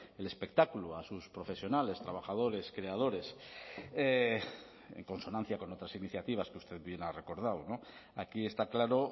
el espectáculo a sus profesionales trabajadores creadores en consonancia con otras iniciativas que usted bien ha recordado aquí está claro